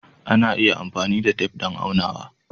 Ana iya amfani da tef don aunawa.